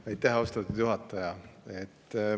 Aitäh, austatud juhataja!